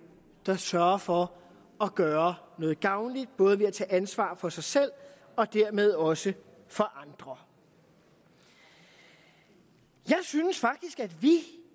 der sørger for at gøre noget gavnligt både ved at tage ansvar for sig selv og dermed også for andre jeg synes faktisk at vi